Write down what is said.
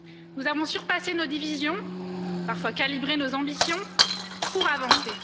Nous avons surpassé nos divisions, parfois calibré nos ambitions, pour avancer.